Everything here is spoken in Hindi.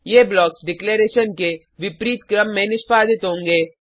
ये ब्लॉक्स डिक्लेरैशन के विपरीत क्रम में निष्पादित होंगे